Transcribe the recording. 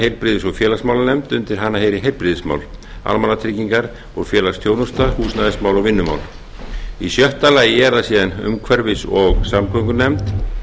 heilbrigðis og félagsmálanefnd undir hana heyri heilbrigðismál almannatryggingar og félagsþjónusta húsnæðismál og vinnumál sjötta umhverfis og samgöngunefnd